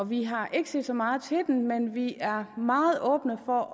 vi har ikke set så meget til den men vi er meget åbne over